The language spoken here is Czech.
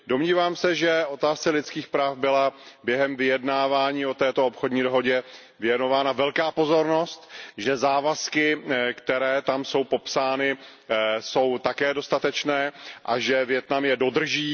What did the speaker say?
Domnívám se, že otázce lidských práv byla během vyjednávání o této obchodní dohodě věnována velká pozornost, že závazky, které tam jsou popsány, jsou také dostatečné a že Vietnam je dodrží.